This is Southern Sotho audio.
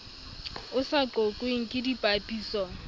o sa qoqweng ke dipapiso